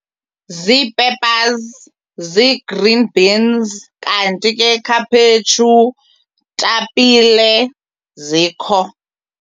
Zii-peppers, zii-green beans. Kanti ke khaphetshu, tapile zikho.